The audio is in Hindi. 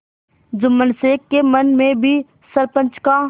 जुम्मन शेख के मन में भी सरपंच का